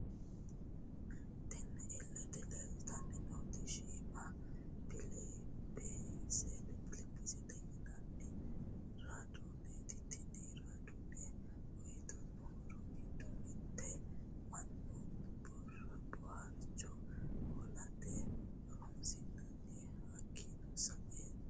Tinni illete leelitanni nooti shiimå pilipisete yinanni radooneti tinni radoone uyitano horro giddo mitte mannu booharicho hoolate horonisinanni hakiino sa'eena..